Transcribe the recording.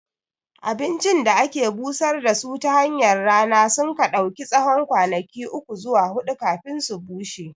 Abincin da ake busar da su tahanyar rana sunka ɗauki tsawon kwanaki uku zuwa huɗu kafin su bushe